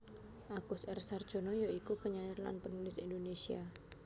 Agus R Sarjono ya iku penyair lan penulis Indonesia